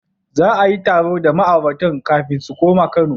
Za a yi taro da ma'auratan kafin su koma Kano.